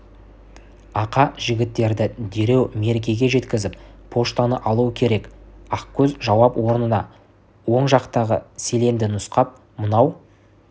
ақа жігіттерді дереу меркеге жеткізіп поштаны алу керек ақкөз жауап орнына оң жақтағы селенді нұсқап мынау